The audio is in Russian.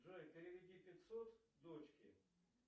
джой переведи пятьсот дочке